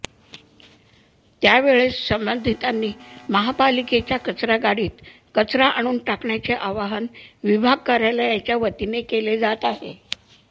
त्यावेळेसच संबंधितांनी महापालिकेच्या कचरा गाडीत कचरा आणून टाकण्याचे आवाहन विभाग कार्यालयाच्या वतीने केले जात आहे